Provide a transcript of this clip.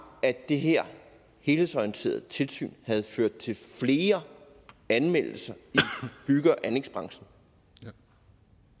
at det her helhedsorienterede tilsyn har ført til flere anmeldelser i bygge og anlægsbranchen